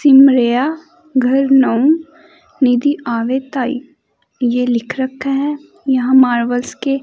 सिमरिया घर नाउ निधि आवे धाई यह लिख रखा है यहां मार्बल्स के--